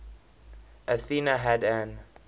athena had an